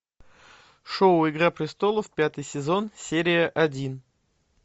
шоу игра престолов пятый сезон серия один